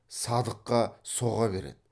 садыққа соға береді